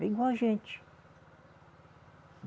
Vem com a gente.